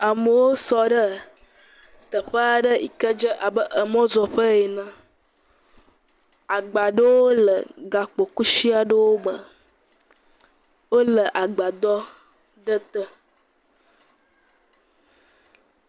Amewo sɔ ɖee teƒe aɖe yi ke dze abe emɔzɔƒe ene. Agba aɖewo le gakpokusi aɖewo me. Wole agbadɔ ɖe te.